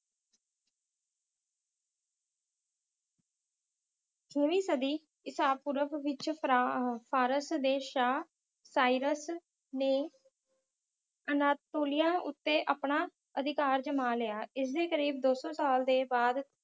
ਛੇਵੀਂ ਸਦੀ ਈਸਾਪੂਰਵ ਵਿੱਚ ਫਰਾ~ ਅਹ ਫਾਰਸ ਦੇ ਸ਼ਾਹ ਸਾਈਰਸ ਨੇ ਅਨਾਤੋਲਿਆ ਉੱਤੇ ਆਪਣਾ ਅਧਿਕਾਰ ਜਮਾ ਲਿਆ। ਇਸਦੇ ਕਰੀਬ ਦੋ ਸੌ ਸਾਲ ਦੇ ਬਾਅਦ